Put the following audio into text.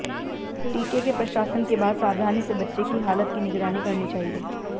टीके के प्रशासन के बाद सावधानी से बच्चे की हालत की निगरानी करनी चाहिए